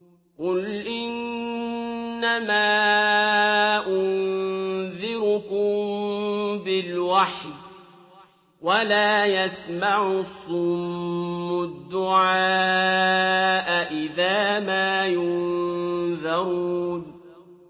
قُلْ إِنَّمَا أُنذِرُكُم بِالْوَحْيِ ۚ وَلَا يَسْمَعُ الصُّمُّ الدُّعَاءَ إِذَا مَا يُنذَرُونَ